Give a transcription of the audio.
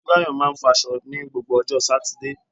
Motunrayo máa ń fọ aṣọ ní gbogbo ọjọ́ Sátidé.